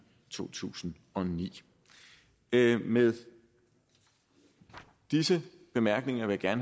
to tusind og ni med disse bemærkninger vil jeg